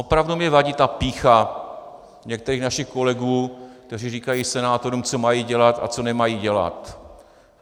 Opravdu mi vadí ta pýcha některých našich kolegů, kteří říkají senátorům, co mají dělat a co nemají dělat.